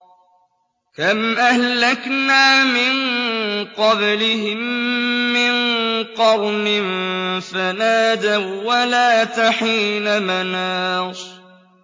كَمْ أَهْلَكْنَا مِن قَبْلِهِم مِّن قَرْنٍ فَنَادَوا وَّلَاتَ حِينَ مَنَاصٍ